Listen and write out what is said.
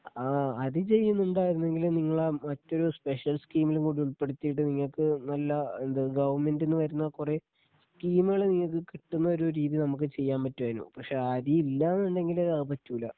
ആ അരി ചെയ്യുന്നുണ്ടായിരുന്നെങ്കില് നിങ്ങളെ മറ്റൊരു സ്പെഷ്യൽ സ്കീമില് കൂടി ഉൾപ്പെടുത്തിയിട്ട് നിങ്ങൾക്ക് നല്ല എന്ത് ഗവൺമെൻ്റിന്ന് വരുന്ന കുറേ സ്കീമുകള് നിങ്ങക്ക് കിട്ടുന്ന ഒരു രീതി നമുക്ക് ചെയ്യാൻ പറ്റുമായിരുന്നു പക്ഷേ ആ അരി ഇല്ല എന്നുണ്ടെങ്കില് അത് പറ്റൂല